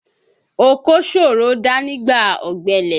Oko ṣòro dá nígbà ọ̀gbẹlẹ̀